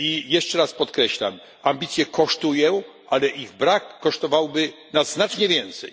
Jeszcze raz podkreślam ambicje kosztują, ale ich brak kosztowałby nas znacznie więcej.